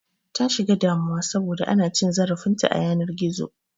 Ta shiga damuwa saboda ana cin zarafin ta a yanar gizo